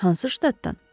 Hansı ştatdan?